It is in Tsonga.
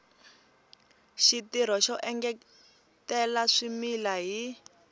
xitirho xo engetela swimila hi